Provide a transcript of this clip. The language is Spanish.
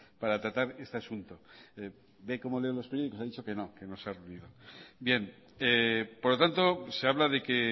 para tratar este asunto ve cómo leo los periódicos ha dicho que no que no los había leído bien por lo tanto se habla de que